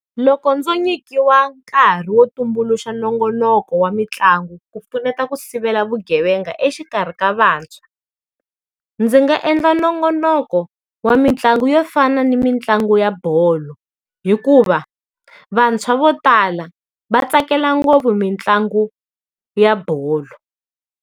Loko ndzo nyikiwa nkarhi wo tumbuluxa nongonoko wa mitlangu ku pfuneta ku sivela vugevenga exikarhi ka vantshwa, ndzi nga endla nongonoko wa mitlangu yo fana ni mitlangu ya bolo. Hikuva vantshwa vo tala va tsakela ngopfu mitlangu ya bolo.